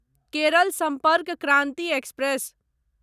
Kerala Sampark Kranti express